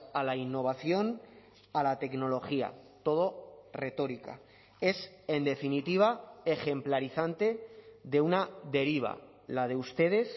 a la innovación a la tecnología todo retórica es en definitiva ejemplarizante de una deriva la de ustedes